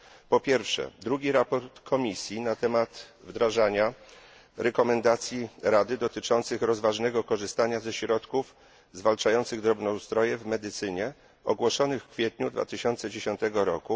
Po pierwsze, drugi raport Komisji na temat wdrażania zaleceń Rady dotyczących rozważnego korzystania ze środków zwalczających drobnoustroje w medycynie ogłoszonych w kwietniu 2010 r.